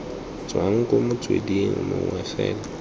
tswa ko motsweding mongwe fela